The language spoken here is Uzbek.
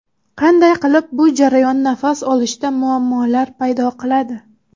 Qanday qilib bu jarayon nafas olishda muammolar paydo qiladi?